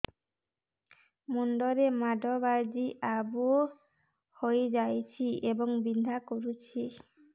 ମୁଣ୍ଡ ରେ ମାଡ ବାଜି ଆବୁ ହଇଯାଇଛି ଏବଂ ବିନ୍ଧା କରୁଛି